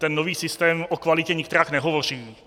Ten nový systém o kvalitě nikterak nehovoří.